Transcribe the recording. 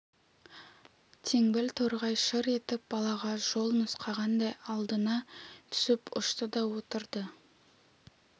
теңбіл торғай шыр етіп балаға жол нұсқағандай алдына түсіп ұшты да отырды